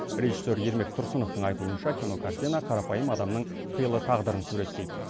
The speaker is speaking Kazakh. режиссер ермек тұрсыновтың айтуынша кинокартина қарапайым адамның қилы тағдырын суреттейді